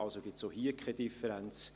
Also gibt es auch hier keine Differenz.